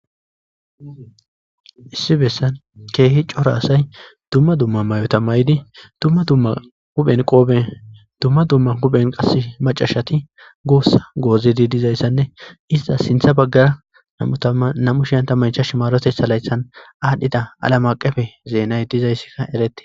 Issi bessan keehi coro asay dumma dumma mayotamaydi dumma dumma huphen qoobe dumma dumma huphen qas macashati goossa goozidi dizayssanne iza sintha baggara nam'u shiyanta maycha shimarotessa laythan aadhdhida alamaqefe zeenay dizayssikka eretti.